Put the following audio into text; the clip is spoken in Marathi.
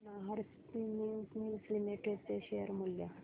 नाहर स्पिनिंग मिल्स लिमिटेड चे शेअर मूल्य